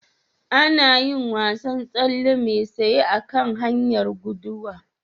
Ana yin wasan tsalle mai sayi a kan hanyar guduwa.